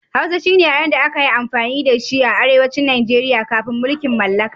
Hausa shine yaren da aka yi amfani da shi a Arewacin Nijeriya kafin mulkin mallaka.